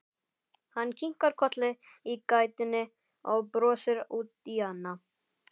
Hann kinkar kolli í gættinni og brosir út í annað.